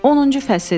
10-cu fəsil.